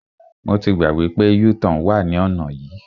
Mo ti gbàgbé pé u-turn wà ní ọ̀nà yìí.